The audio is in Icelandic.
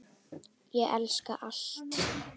Ég elska allt.